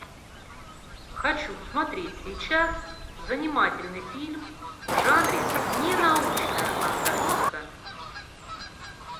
хочу смотреть сейчас занимательный фильм в жанре ненаучная фантастика